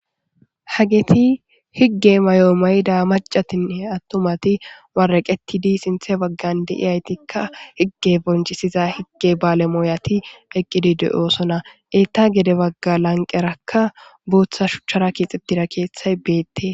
Hageti higge mayoo mayida macatine attumati waraqetidi sinthe baggan de iyaytikka higge bonchisiza higge baalemooyati eqqidi de'osona etta gede bagga lanqerakka buuththa shuchchara kiixitira keeththay beette.